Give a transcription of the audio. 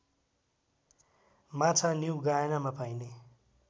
माछा न्युगायनामा पाइने